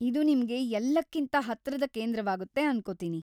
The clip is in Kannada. ಇದು ನಿಮ್ಗೆ ಎಲ್ಲಕ್ಕಿಂತ ಹತ್ರದ ಕೇಂದ್ರವಾಗುತ್ತೆ ಅನ್ಕೊತೀನಿ.